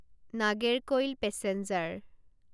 Nagercoil passenger